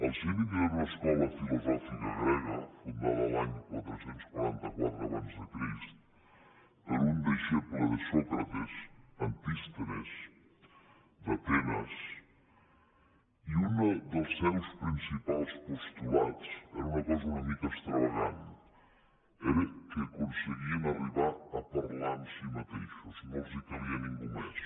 els cínics era una escola filosòfica grega fundada l’any quatre cents i quaranta quatre abans de crist per un deixeble de sòcrates antístenes d’atenes i un dels seus principals postulats era una cosa una mica extravagant era que aconseguien arribar a parlar amb ells mateixos no els calia ningú més